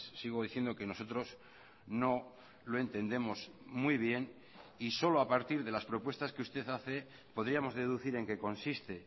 sigo diciendo que nosotros no lo entendemos muy bien y solo a partir de las propuestas que usted hace podríamos deducir en qué consiste